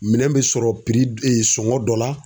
Minɛn bɛ sɔrɔ sɔngɔ dɔ la.